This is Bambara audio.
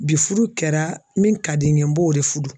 Bi furu kɛra min ka di n ye n b'o de furu